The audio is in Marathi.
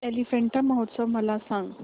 एलिफंटा महोत्सव मला सांग